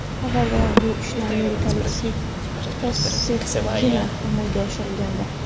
Avvalroq bu ishni amerikalik Stiv Fossettgina amalga oshirgandi.